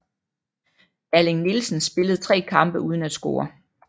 Erling Nielsen spillede tre kampe uden at score